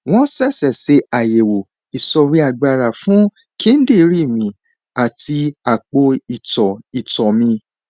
wọn ṣẹṣẹ ṣe àyẹwò ìsọríagbára fún kíndìnrín mi àti àpò ìtọ ìtọ mi